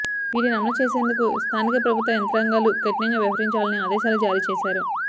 వీటిని అమలు చేసేందుకు స్థానిక ప్రభుత్వ యంత్రాంగాలు కఠినంగా వ్యవహరించాలని ఆదేశాలు జారీచేశారు